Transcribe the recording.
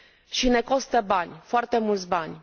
Și ne costă bani, foarte mulți bani.